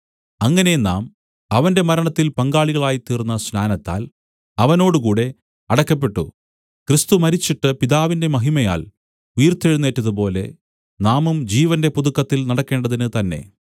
അങ്ങനെ നാം അവന്റെ മരണത്തിൽ പങ്കാളികളായിത്തീർന്ന സ്നാനത്താൽ അവനോടുകൂടെ അടക്കപ്പെട്ടു ക്രിസ്തു മരിച്ചിട്ട് പിതാവിന്റെ മഹിമയാൽ ഉയിർത്തെഴുന്നേറ്റതുപോലെ നാമും ജീവന്റെ പുതുക്കത്തിൽ നടക്കേണ്ടതിന് തന്നേ